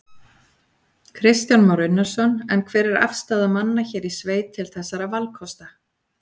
Kristján Már Unnarsson: En hver er afstaða manna hér í sveit til þessara valkosta?